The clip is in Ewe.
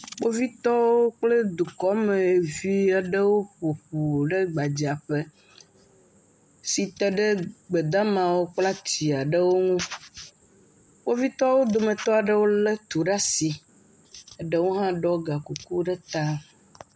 Kpovitɔwo kple dukɔmevi aɖewo ƒo ƒu ɖe gbadzaƒe si te ɖe gbedamawo kple ati aɖewo ŋu. Kpovitɔwo dometɔ aɖewo lé tu ɖe asi, eɖewo hã ɖɔ gakuku ɖe ta.